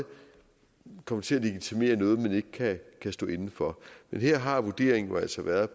komme til at legitimere noget man ikke kan stå inde for men her har vurderingen jo altså været